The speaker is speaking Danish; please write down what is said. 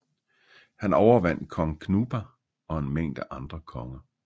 Han overvandt kong Knupa og en mængde andre konger